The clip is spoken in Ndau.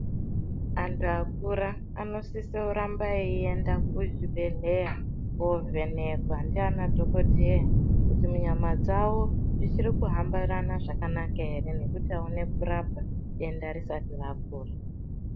Antu akura anosise kuramba eyienda kuzvibhedhleya kovhenhekwa ndiana dhokodheya kuti munyama dzawo zvichiri kuhambirana zvakanaka ere nekuti awone kurapwa denda risati rapora .